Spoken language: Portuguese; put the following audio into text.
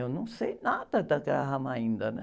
Eu não sei nada da Graham ainda, né?